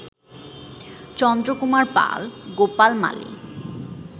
Chandra Kumar Pal, Gopal Mali